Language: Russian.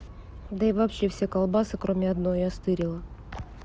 да и вообще все колбасы кроме одной я стырила